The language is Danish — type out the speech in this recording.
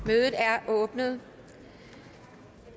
mødet er åbnet